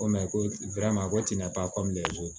Ko ko a ko tɛna taa